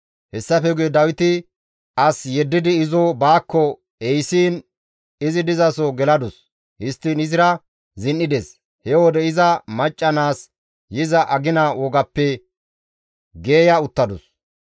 Hessafe guye Dawiti as yeddidi izo baakko ehisiin izi dizaso geladus; histtiin izira zin7ides; he wode iza macca naas yiza agina wogappe geeya uttadus.